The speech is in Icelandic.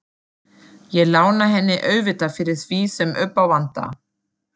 Ég lána henni auðvitað fyrir því sem upp á vantar.